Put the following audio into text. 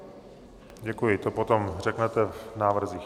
Děkuji, to potom řeknete v návrzích.